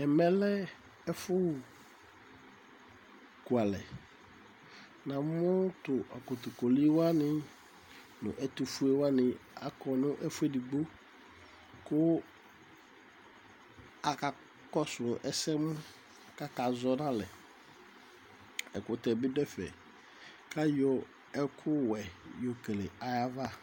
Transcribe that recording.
Ɛmɛ lɛ ɛfukualɛ Namu tu kotokoli waní, nu ɛtufue waní akɔ nu ɛfu eɖigbo Ku aka kɔsu ɛsɛmu, ku aka zɔ nu alɛ Ɛkutɛ bi ɖu ɛfɛ Ku ayɔ ɛku wɛ yɔ kele ayu aʋa